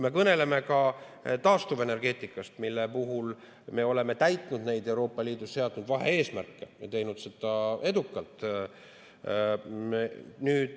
Kõneledes taastuvenergeetikast: me oleme täitnud Euroopa Liidus seatud vahe‑eesmärke ja teinud seda edukalt.